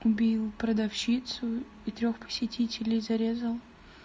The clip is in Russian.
убил продавщицу и трёх посетителей зарезал